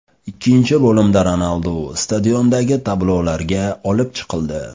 Ikkinchi bo‘limda Ronaldu stadiondagi tablolarga olib chiqildi.